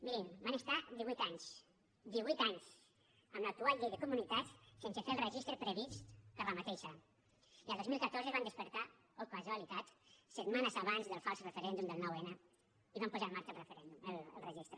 mirin van estar divuit anys divuit anys amb l’actual llei de comunitats sense fer el registre previst per aquesta i el dos mil catorze es van despertar oh casualitat setmanes abans del fals referèndum del nou n i van posar en marxa el registre